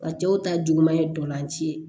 A cɛw ta juguman ye dolanci ye